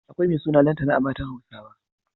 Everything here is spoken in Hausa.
Akwai mai suna Lantana a matan Hausawa.